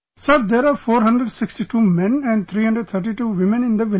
Sir, there are 462 men and 332 women in the village